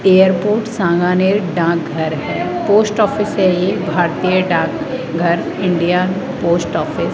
airport Sanganer डाकघर है post office है ये भारतीय डाकघर इंडिया पोस्ट ऑफिस --